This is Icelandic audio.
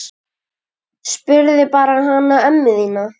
Spurðu bara hana ömmu þína!